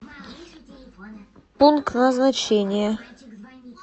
пункт назначения